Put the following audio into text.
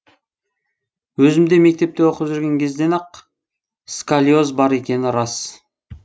өзімде мектепте оқып жүрген кезден ақ сколиоз бар екені рас